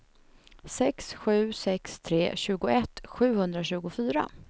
sex sju sex tre tjugoett sjuhundratjugofyra